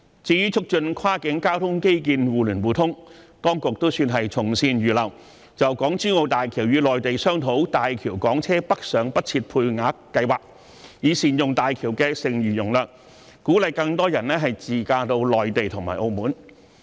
至於促進跨境交通基建的互聯互通，當局算是從善如流，就港珠澳大橋與內地商討大橋港車北上不設配額計劃，以善用大橋的剩餘容量，鼓勵更多人自駕到內地和澳門。